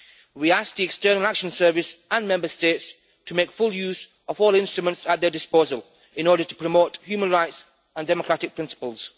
We ask the External Action Service and Member States to make full use of all instruments at their disposal in order to promote human rights and democratic principles.